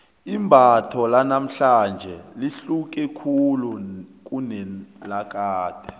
imbatho lanamhlanje lihluke khulu kunelakade